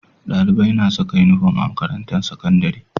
Dalibai na Saka inufom a makarantar sakandari